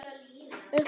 Upp og niður.